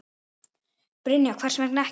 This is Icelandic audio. Brynja: Hvers vegna ekki?